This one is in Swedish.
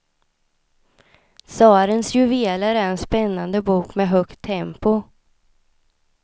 Tsarens juveler är en spännande bok med högt tempo.